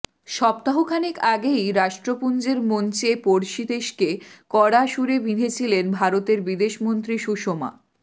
সপ্তাহখানেক আগেই রাষ্ট্রপুঞ্জের মঞ্চে পড়শি দেশকে কড়া সুরে বিঁধেছিলেন ভারতের বিদেশমন্ত্রী সুষমা